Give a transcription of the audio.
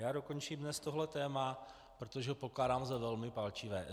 Já dokončím dnes tohle téma, protože ho pokládám za velmi palčivé.